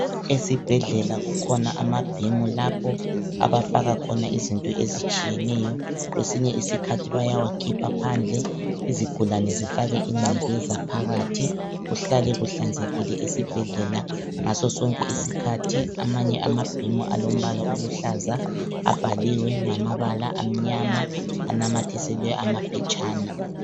Esibhedlela kukhona amabhimu lapho abafaka khona izinto ezitshiyeneyo ngesinye isikhathi bayawa khipha phandle izigulane zifake ingcekeza phakathi kuhlale kuhlanzekile esibhedlela ngaso sonke isikhathi. Amanye amabhimu alombala oluhlaza abhaliwe ngamabala amnyama anamathiselwe amaphetshana.